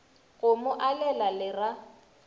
go mo alela le ra